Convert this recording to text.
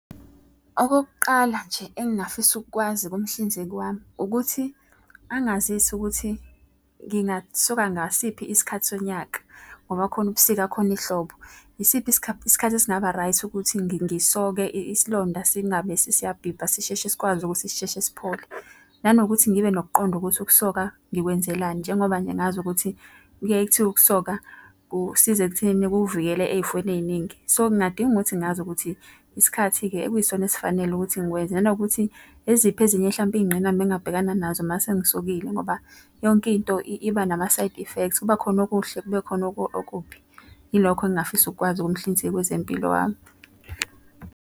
Okokuqala nje engingafisa ukukwazi kumhlinzeki wami ukuthi angazise ukuthi ngingasuka ngasiphi isikhathi sonyaka, ngoba kukhona ubusika khona ihlobo. Isiphi isikhathi esingaba-right ukuthi ngisoke isilonda singabe siyabhibha sisheshe sikwazi ukuthi sisheshe siphole. Nanokuthi ngibe nokuqonda ukuthi ukusoka ngikwenzelani, njengoba nje ngazi ukuthi kuyaye kuthiwe ukusoka kusiza ekutheni kuvikele ey'fweni ey'ningi. So ngingadinga ukuthi ngazi ukuthi isikhathi-ke ekuyisona esifanele ukuthi ngikwenze. Nanokuthi eziphi ezinye hlampe izingqinamba engingabhekana nazo uma sengisokile ngoba yonke into iba nama-side effects kuba khona okuhle kube khona okubi. Yilokho engingafisa ukukwazi kumhlinzeki wezempilo wami.